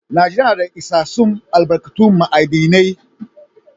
Najeriya na da isassun albarkatun ma'adinai.